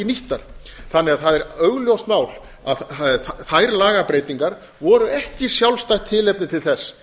nýttar þannig að það er augljóst mál að þær lagabreytingar voru ekki sjálfstætt tilefni til þess